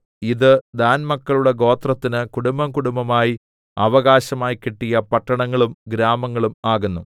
ഇത് ദാൻമക്കളുടെ ഗോത്രത്തിന് കുടുംബംകുടുംബമായി അവകാശമായി കിട്ടിയ പട്ടണങ്ങളും ഗ്രാമങ്ങളും ആകുന്നു